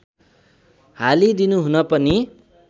हालिदिनु हुन पनि